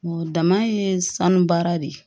Dama ye sanu baara de ye